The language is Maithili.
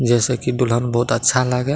जे से की दुल्हन बहुत अच्छा लागे।